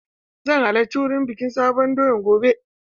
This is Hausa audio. Zan halarci wurin bikin sabon doya gobe.